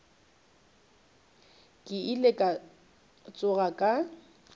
ke ile ka tsoga ka